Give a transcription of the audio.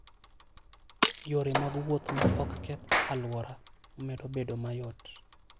Yore mag wuoth ma ok keth alwora, medo bedo mayot.